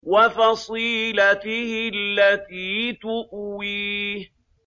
وَفَصِيلَتِهِ الَّتِي تُؤْوِيهِ